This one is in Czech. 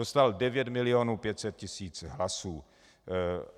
Dostal 9 milionů 500 tisíc hlasů.